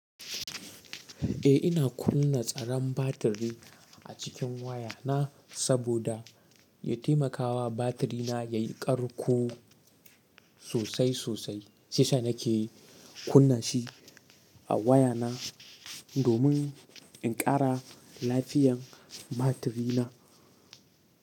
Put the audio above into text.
Eh ina kunna tsaran batiri a cikin wayana saboda ya taimakawa batirina yayi ƙarko sosai sosai. Shi yasa nake kunna shi a wayana domin in ƙara lafiyar batirina.